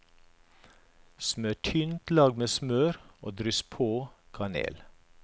Smør tynt lag med smør og dryss på kanel.